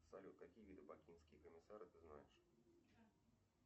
салют какие виды бакинские комиссары ты знаешь